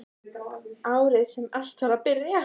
Árið sem allt var að byrja.